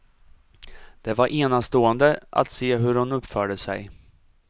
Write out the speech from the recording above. Det var enastående att se hur hon uppförde sig.